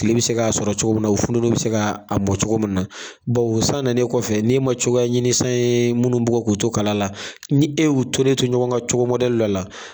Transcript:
Kile bi se ka sɔrɔ cogo min na, o futonin mi se mɔ cogo min na, bawo sannen kɔfɛ ne ma cogoya ɲini san ye minnu bukɔ k'u to kala la, ni e y'u tolen to ɲɔgɔn ka cogo dɔ la